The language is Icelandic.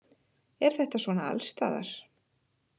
Er þetta svona allsstaðar